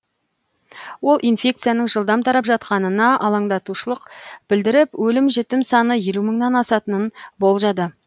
ол инфекцияның жылдам тарап жатқанына алаңдаушылық білдіріп өлім жітім саны елу мыңнан асатынын болжады